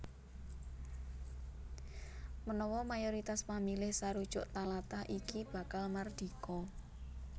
Menawa mayoritas pamilih sarujuk talatah iki bakal mardika